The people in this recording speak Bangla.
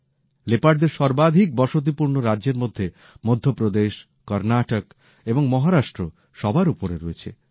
লেপার্ডদের সর্বাধিক বসতিপূর্ণ রাজ্যের মধ্যে মধ্যপ্রদেশ কর্ণাটক এবং মহারাষ্ট্র সবার ওপরে রয়েছে